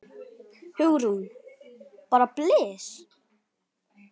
Hugrún: Bara blys?